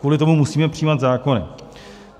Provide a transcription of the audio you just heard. Kvůli tomu musíme přijímat zákony?